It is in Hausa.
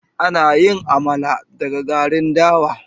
Ana yin Amala daga garin dawa.